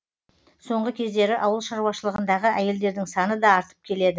соңғы кездері ауыл шаруашылығындағы әйелдердің саны да артып келеді